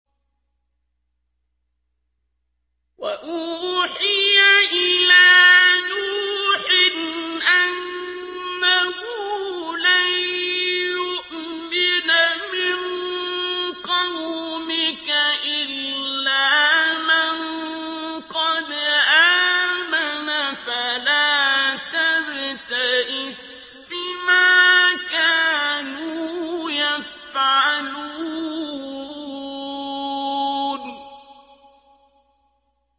وَأُوحِيَ إِلَىٰ نُوحٍ أَنَّهُ لَن يُؤْمِنَ مِن قَوْمِكَ إِلَّا مَن قَدْ آمَنَ فَلَا تَبْتَئِسْ بِمَا كَانُوا يَفْعَلُونَ